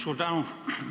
Suur tänu!